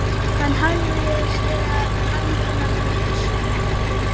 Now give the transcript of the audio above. Hann hafði séð höndina með fiskamatinn.